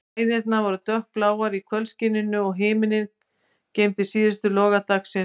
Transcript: Hæðirnar voru dökkbláar í kvöldskininu, og himinninn geymdi síðustu loga dagsins.